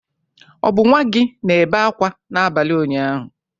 Ọ bụ nwa gị na-ebe akwa n'abalị ụnyaahụ?